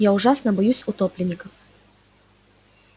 я ужасно боюсь утопленников